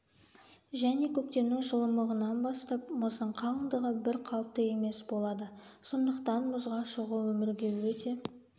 және көктемнің жылымығынан бастап мұздың қалындығы бір қалыпты емес болады сондықтан мұзға шығуы өмірге өте